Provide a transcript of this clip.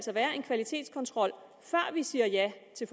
være en kvalitetskontrol før vi siger ja til